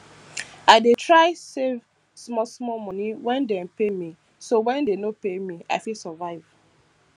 i dey try save small small monie when dem pay me so when dey no pay me i fit survive